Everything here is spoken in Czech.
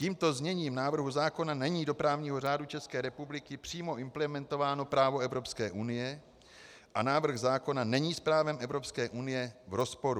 Tímto zněním návrhu zákona není do právního řádu České republiky přímo implementováno právo Evropské unie a návrh zákona není s právem Evropské unie v rozporu.